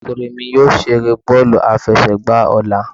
Ọmọkunrin mí yóò ṣere bọọlu afẹsẹgba ọla.